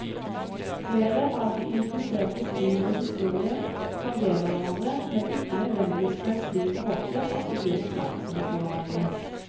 Flere av de implisertes liv og historier tangerer hverandre, men ikke nødvendigvis på en slik måte at de blir oppmerksomme på hverandre.